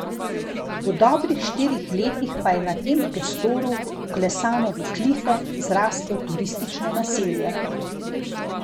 V dobrih štirih letih pa je na tem prostoru, vklesano v klife, zraslo turistično naselje.